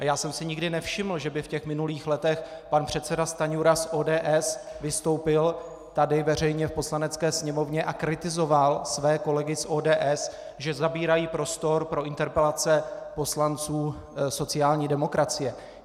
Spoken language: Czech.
A já jsem si nikdy nevšiml, že by v těch minulých letech pan předseda Stanjura z ODS vystoupil tady veřejně v Poslanecké sněmovně a kritizoval své kolegy z ODS, že zabírají prostor pro interpelace poslanců sociální demokracie.